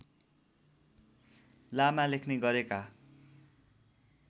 लामा लेख्ने गरेका